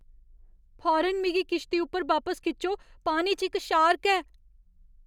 फौरन मिगी किश्ती उप्पर बापस खिच्चो, पानी च इक शार्क ऐ।